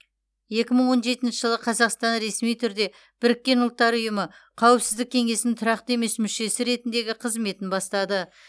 екі мың он жетінші жылы қазақстан ресми түрде біріккен ұлттар ұйымы қауіпсіздік кеңесінің тұрақты емес мүшесі ретіндегі қызметін бастады